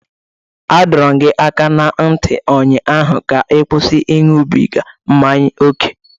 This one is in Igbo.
A dọrọ m gị aka na ntị ụnyaahụ ka ị kwụsị ịṅụbiga mmanya ókè!